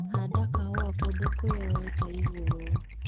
Handa kahũa kũndũ kwĩyoete igũrũ.